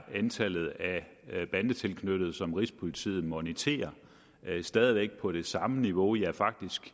at antallet af bandetilknyttede som rigspolitiet moniterer stadig væk er på det samme niveau ja faktisk